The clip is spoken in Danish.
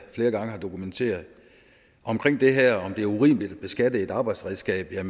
flere gange har dokumenteret omkring det her med om det er urimeligt at beskatte et arbejdsredskab vil